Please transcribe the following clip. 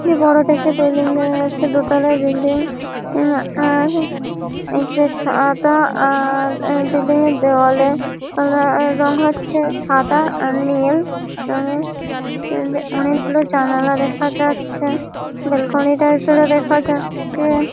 এ বড় দেখে বিল্ডিং দেখা যাচ্ছে দোতালা বিল্ডিং । উ আর একটা সাদা আ- আর বিল্ডিং - এর দেয়ালে আ রং হচ্ছে সাদা আর নীল। অনেক আ অনেকগুলো জানালা দেখা যাচ্ছে। বেলকনি টাইপ এর ও দেখা যাচ্ছে।